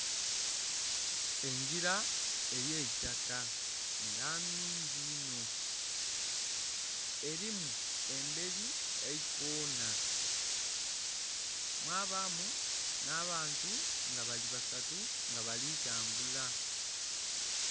Engila ey'eitaka nga nnhungi inho. Elimu embeli eikona, mwabaamu nh'abantu nga bali basatu nga bali tambula.